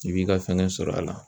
I b'i ka fɛngɛ sɔrɔ a la